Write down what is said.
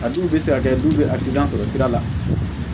A dun bɛ se ka kɛ du bɛ a tɛ gilan